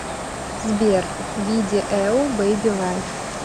сбер видиэу бэби лайф